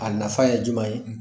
A nafa ye juman ye?